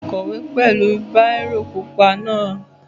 Bẹ́ẹ̀ni, mo máa kọ̀wé pẹ̀lú bírò pupa náà